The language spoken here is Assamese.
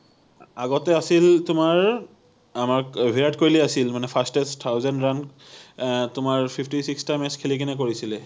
আগতে আছিল তোমাৰ আমাক বিৰাট কোহলি আছিল মানে fastest thousand run আহ তোমাৰ fifty six টা match খেলি কিনে কৰিছিলে